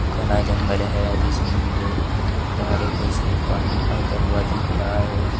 घना जंगल है जिसमें मुझे पहाड़ों पे से पानी आता हुआ दिख रहा है।